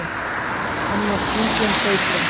Hannar þunglynd leikföng